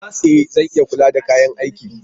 E! Zan iya kula da kayan aikin.